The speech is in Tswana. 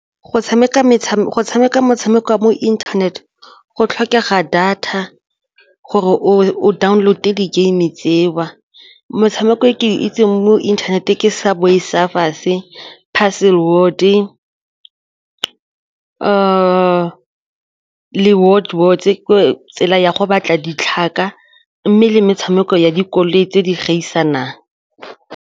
Go tshameka metshameko wa mo internet go tlhokega data gore o download-e di-game tseo motshameko e ke itseng mo inthaneteng ke Subway Surfers, Puzzle le ka tsela ya go batla ditlhaka mme le metshameko ya dikoloi tse di gaisanang.